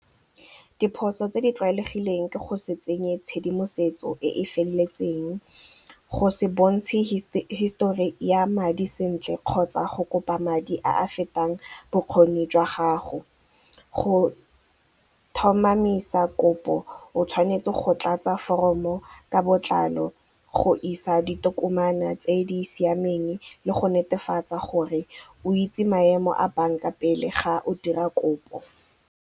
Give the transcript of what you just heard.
Diphoso tse di tlwaelegileng ke go se tsenye tshedimosetso e e feleletseng, go se bontshe hisetori ya madi sentle kgotsa go kopa madi a a fetang bokgoni jwa gago. Go tlhomamisa kopo o tshwanetse go tlatsa foromo ka botlalo go isa ditokomane tse di siameng le go netefatsa gore o itse maemo a bank-a pele ga o dira kopo.